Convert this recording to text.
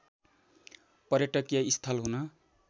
पर्यटकीय स्थल हुन